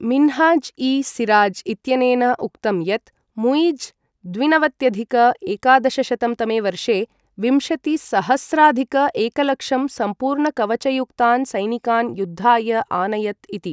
मिन्हाज् इ सिराज् इत्यनेन उक्तं यत्, मुइज़् द्विनवत्यधिक एकादशशतं तमे वर्षे विंशतिसहस्राधिक एकलक्षं सम्पूर्णकवचयुक्तान् सैनिकान् युद्धाय आनयत् इति।